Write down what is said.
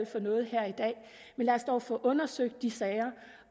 for noget her i dag men lad os dog få undersøgt de sager